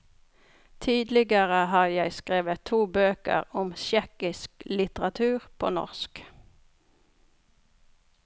Tidligere har jeg skrevet to bøker om tsjekkisk litteratur på norsk.